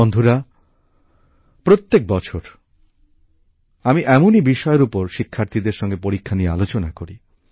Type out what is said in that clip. বন্ধুরা প্রত্যেক বছর আমি এমনই বিষয়ের উপর শিক্ষার্থীদের সঙ্গে পরীক্ষা নিয়ে আলোচনা করি